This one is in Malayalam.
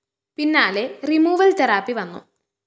പിന്നാലെ റിമൂവൽ തെറാപ്പി വന്നു